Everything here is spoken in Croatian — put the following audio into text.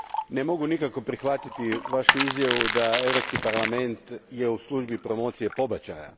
Ne mogu nikako prihvatiti vašu izjavu da je Europski parlament u službi promocije pobačaja.